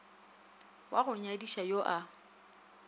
wa go nyadiša yo a